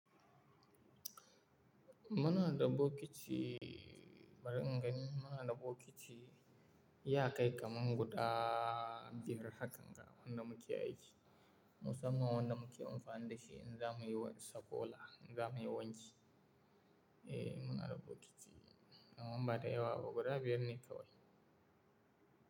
Muna da bokiti bari in gani. Muna da bokiti ya kai kamar guda biyar hakkan ga wanda muke aiki. Musamman wanda muke amfani da shi in za muyi sukola, in za muyi wanki. Eh, muna da bokiti, ba da yawa ba guda biyar ne kawai.